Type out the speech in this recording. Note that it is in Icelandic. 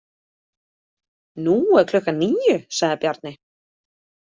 Nú er klukkan níu, sagði Bjarni.